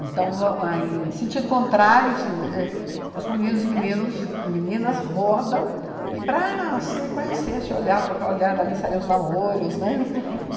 Então, é em sentido contrário, assim é os meninos e meninos meninas rodam e, para se conhecer, se olhar, trocar o olhar, dali saíam os namoros, né?